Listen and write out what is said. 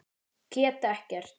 Get ekkert.